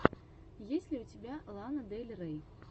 есть ли у тебя лана дель рей